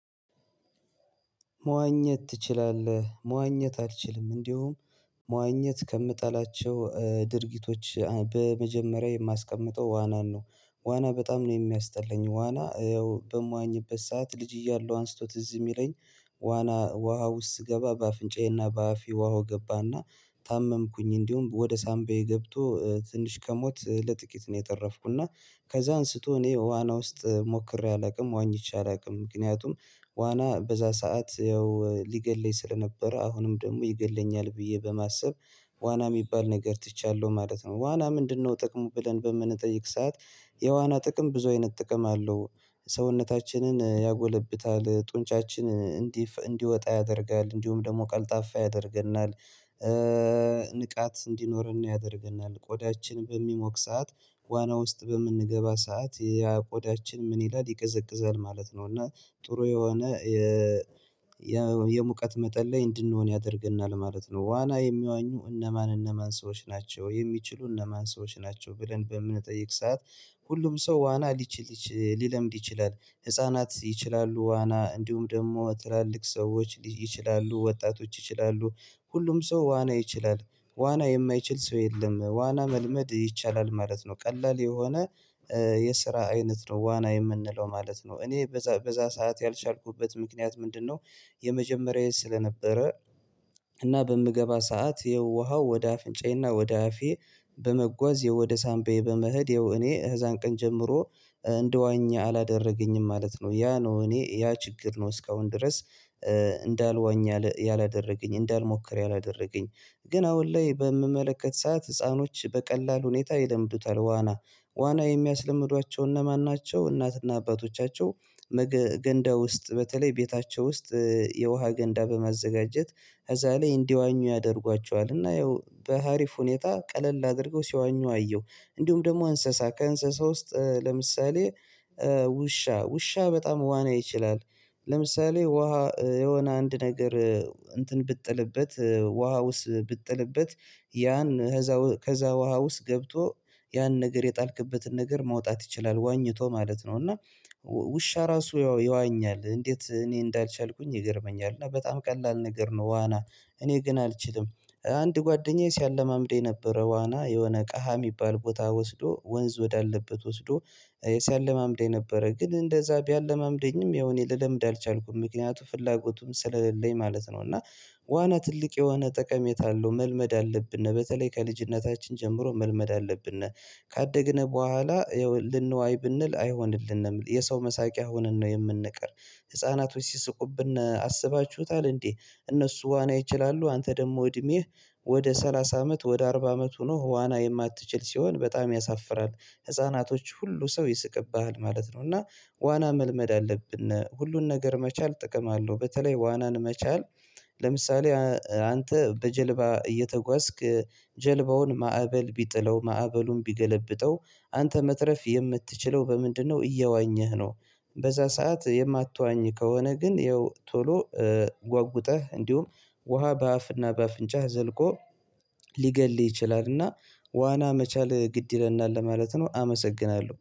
"መዋኘት ትችላለህ?" መዋኘት አልችልም፤ እንዲሁም መዋኘት ከምጠላቸው ድርጊቶች በመጀመሪያ የማስቀምጠው ዋናን ነው። ዋና በጣም ነው የሚያስጠለኝ። ዋና ያው በምዋኝበት ሰዓት ልጅ እያለሁ አንስቶት ትዝ የሚለኝ ዋና ውሃ ውስጥ ስገባ በአፍንጫዬና በአፌ ውሃው ገባና ታመምኩኝ እንዲሁም ወደ ሳምባዬ ገብቶ ትንሽ ከሞት ለጥቂት ነው የተረፍኩ እና ከዛ አንስቶ እኔ ዋና ውስጥ ሞክሬ አላውቅም ዋኝቼ አላውቅም። ምክንያቱም ዋና በዛ ሰዓት ያው ሊገለይ ስለነበረ አሁንም ደግሞ ይገለኛል ብዬ በማሰብ ዋና የሚባል ነገር ትቻለሁ ማለት ነው። ዋና ምንድነው ጥቅሙ ብለን በምንጠይቅ ሰዓት የዋና ጥቅም ብዙ አይነት ጥቅም አለው። ሰውነታችንን ያጎለብታል፣ ጡንጫችን እንዲፈ እንዲወጣ ያደርጋል፣ እንዲሁም ደግሞ ቀልጣፋ ያደርገናል፣ ንቃት እንዲኖረን ያደርገናል፣ ቆዳችን በሚሞቅ ሰዓት ዋና ውስጥ በምንገባ ሰዓት ያ ቆዳችን ምን ይላል ይቀዘቅዛል ማለት ነው፤ እና ጥሩ የሆነ የሙቀት መጠን ላይ እንድንሆን ያደርግናል ማለት ነው። ዋና የሚዋኙ እነማን እነማን ሰዎች ናቸው የሚችሉ እነማን ሰዎች ናቸው ብለን በምንጠይቅ ሰዓት ሁሉም ሰው ዋና ሊችል ይች ሊለምድ ይችላል። ህፃናት ይችላሉ ዋና እንዲሁም ደግሞ ትላልቅ ሰዎች ይችላሉ ወጣቶች ይችላሉ ሁሉም ሰው ዋና ይችላል። ዋና የማይችል ሰው የለም ዋና መልመድ ይቻላል ማለት ነው ቀላል የሆነ የስራ አይነት ነው ዋና የምንለው ማለት ነው። "እኔ በዛ በዛ ሰዓት ያልቻልኩበት ምክንያት ምንድነው?" የመጀመሪያዬ ስለነበረ እና በምገባ ሰዓት የውሃው ወደ አፍንጫዬና ወደ አፌ በመጓዝ ወደ ሳንቤ በመሄድ ያው እኔ ከዛን ቀን ጀምሮ እንድዋኘ አላደረገኝም ማለት ነው። ያ ነው እኔ ያ ችግር ነው እስካሁን ድረስ እንዳልዋኝ ያላ ያላደረገኝ እንዳልሞክር ያላደረገኝ። ግን አሁን ላይ በምመለከት ሰዓት ህፃኖች በቀላል ሁኔታ ይለምዱታል ዋና። "ዋና የሚያስለምዷቸው እነማን ናቸው?" እናትና አባቶቻቸው ነገ ገንዳ ውስጥ በተለይ ቤታቸው ውስጥ የውሃ ገንዳ በማዘጋጀት ከዛ ላይ እንዲዋኙ ያደርጓቸዋል እና ያው በሀሪፍ ሁኔታ ቀለል አድርገው ሲዋኙ አየሁ። እንዲሁም ደግሞ እንስሳ ከእንስሳ ውስጥ ለምሳሌ ውሻ ውሻ በጣም ዋና ይችላል። ለምሳሌ ውሃ የሆነ አንድ ነገር እንትን ብትጥልበት ውሃ ውስጥ ብትጥልበት ያን ከዛ ከዛ ውሃ ውስጥ ገብቶ ያን ነገር የጣልክበትን ነገር ማውጣት ይችላል ዋኝቶ ማለት ነው፤ እና ውሻ ራሱ ይዋኛል እንዴት እኔ እንዳልቻልኩኝ ይገርመኛል፤ እና በጣም ቀላል ነገር ነው ዋና እኔ ግን አልችልም። አንድ ጓደኛዬ ሲያለማምደኝ ነበረ ዋና የሆነ ቀሃ የሚባል ቦታ ወስዶ ወንዝ ወዳለበት ወስዶ ሲያለማምደኝ ነበረ ግን እንደዛ ቢያለማምደኝም ያው እኔ ልለምድ አልቻልኩም። ምክንያቱም ፍላጎቱም ስለሌለኝ ማለት ነው፤ እና ዋና ትልቅ የሆነ ጠቀሜታ አለው መልመድ አለብን። በተለይ ከልጅነታችን ጀምሮ መልመድ አለብን። ካደግን በኋላ ልንዋይ ብንል አይሆንልንም። የሰው መሳቂያ ሆነን ነው የምንቀር ህፃናቶች ሲስቁብን አስባችሁታል እንዴ እነሱ ዋና ይችላሉ። አንተ ደግሞ እድሜህ ወደ ሰላሳ አመት ወደ አርባ አመት ሆኖህ ዋና የማትችል ሲሆን በጣም ያሳፍራል። ህፃናቶች ሁሉ ሰው ይስቅብሃል ማለት ነው፤ እና ዋና መልመድ አለብን ሁሉን ነገር መቻል ጥቅም አለው በተለይ ዋናን መቻል ለምሳሌ አንተ በጀልባ እየተጓዝክ ጀልባውን ማዕበል ቢጥለው ማዕበሉን ቢገለብጠው አንተ መትረፍ የምትችለው በምንድነው እየዋኘህ ነው። በዛ ሰዓት የማትዋኝ ከሆነ ግን ያው ቶሎ ጓጉጠህ እንዲሁም ውሃ በአፍና በአፍንጫህ ዘልቆ ሊገልህ ይችላልና ዋና መቻል ግድ ይለናል ለማለት ነው አመሰግናለሁ።